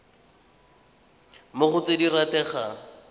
mo go tse di rategang